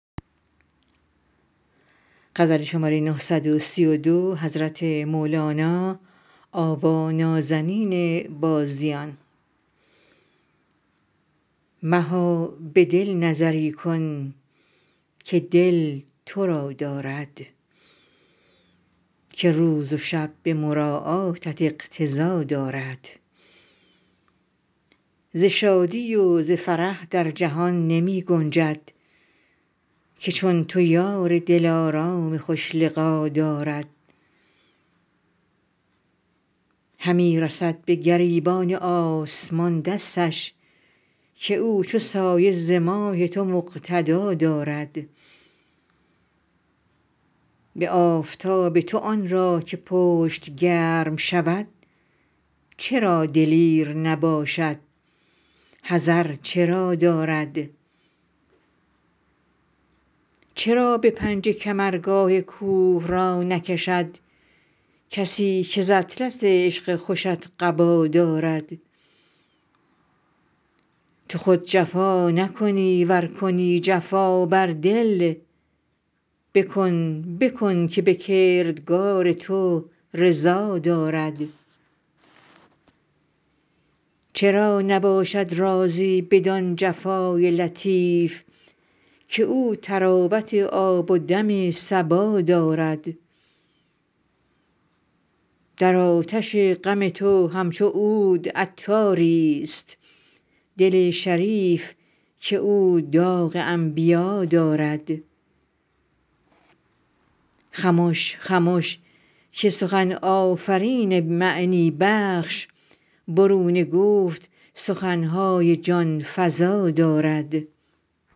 مها به دل نظری کن که دل تو را دارد که روز و شب به مراعاتت اقتضا دارد ز شادی و ز فرح در جهان نمی گنجد که چون تو یار دلارام خوش لقا دارد همی رسد به گریبان آسمان دستش که او چو سایه ز ماه تو مقتدا دارد به آفتاب تو آن را که پشت گرم شود چرا دلیر نباشد حذر چرا دارد چرا به پنجه کمرگاه کوه را نکشد کسی که ز اطلس عشق خوشت قبا دارد تو خود جفا نکنی ور کنی جفا بر دل بکن بکن که به کردار تو رضا دارد چرا نباشد راضی بدان جفای لطیف که او طراوت آب و دم صبا دارد در آتش غم تو همچو عود عطاریست دل شریف که او داغ انبیا دارد خمش خمش که سخن آفرین معنی بخش برون گفت سخن های جان فزا دارد